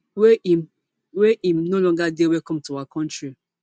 wey im wey im no longer dey welcome to our kontri